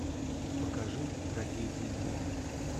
покажи трагедии нины